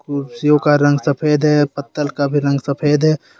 कुर्सियों का रंग सफेद है पत्तल का भी रंग सफेद है।